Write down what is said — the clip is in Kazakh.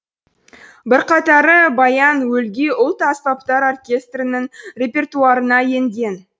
бірқатары баян өлгий ұлт аспаптар оркестрінің репертуарына енген